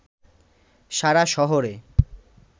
সারা শহরে